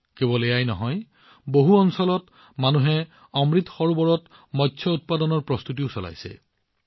কেৱল এয়াই নহয় বহু ঠাইত মানুহে অমৃত সৰোবৰত মীনপালনৰ প্ৰস্তুতিত নিয়োজিত হৈ আছে